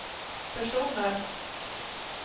personer